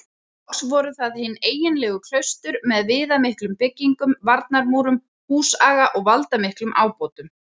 Loks voru það hin eiginlegu klaustur með viðamiklum byggingum, varnarmúrum, húsaga og valdamiklum ábótum.